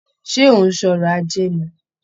Ṣé ó ń sọrọ̀ ajé ni?